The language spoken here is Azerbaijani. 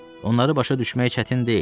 Onları başa düşmək çətin deyil.